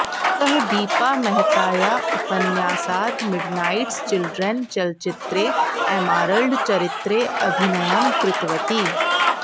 सः दीपा मेहतायाः उपन्यासात् मि़डनाइटस् चिलड्रेन् चलचित्रे एमारल्ड चरित्रे अभिनयं कृतवती